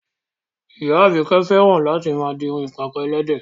Ìyá Àbíkẹ́ fẹ́ràn láti máa di irun ìpàkọ́ ẹlẹ́dẹ̀